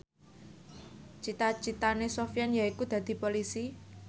cita citane Sofyan yaiku dadi Polisi